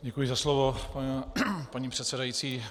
Děkuji za slovo, paní předsedající.